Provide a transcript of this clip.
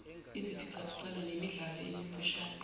iziphicaphicwano nemidlalo emifushane